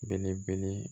Belebele